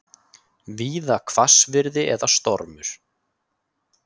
Víða hvassviðri eða stormur